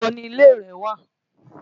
Níbo ni ilé rẹ wà?